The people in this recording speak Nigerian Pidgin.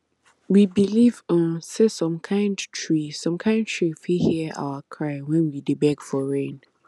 we believe um say some kind tree some kind tree fit hear our cry when we dey beg for rain